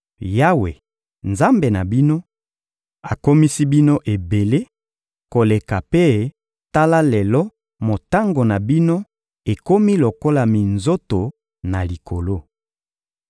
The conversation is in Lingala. Yawe, Nzambe na bino, akomisi bino ebele koleka mpe tala lelo motango na bino ekomi lokola minzoto na likolo.